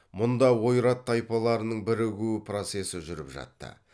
мұнда ойрат тайпаларының бірігіу процесі жүріп жатты